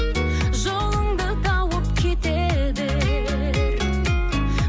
жолыңды тауып кете бер